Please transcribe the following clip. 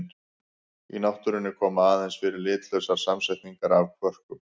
Í náttúrunni koma aðeins fyrir litlausar samsetningar af kvörkum.